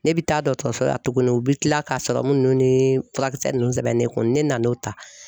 Ne bɛ taa dɔgɔtɔrɔso la tuguni u bɛ tila k'a serɔmu ninnu ni furakisɛ ninnu sɛbɛnnen ne kun ne nan'o ta